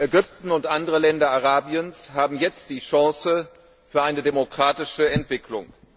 Ägypten und andere Länder Arabiens haben jetzt die Chance auf eine demokratische Entwicklung.